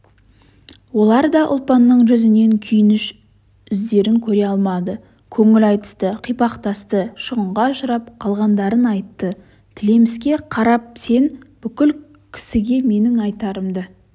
олар да ұлпанның жүзінен күйініш іздерін көре алмады көңіл айтысты қипақтасты шығынға ұшырап қалғандарын айтты тілеміске қарапсен бұл кісіге менің айтарымды